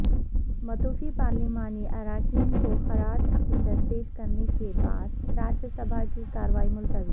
متوفی پارلیمانی اراکین کو خراج عقیدت پیش کرنے کے بعد راجیہ سبھا کی کارروائی ملتوی